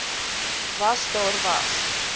was daar was